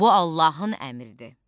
Bu Allahın əmridir.